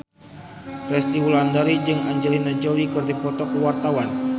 Resty Wulandari jeung Angelina Jolie keur dipoto ku wartawan